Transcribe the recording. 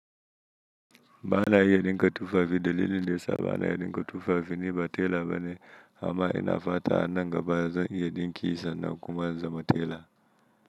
Bana iya ɗinka tufafi dalilin da ya sa bana iye ɗinga tufafi ni ba tela ba ne amma ina fata anan gaba zan iya ɗinki sannan kuma in zama tela.